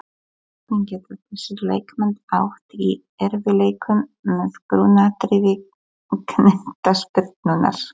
Hvernig geta þessir leikmenn átt í erfiðleikum með grunnatriði knattspyrnunnar?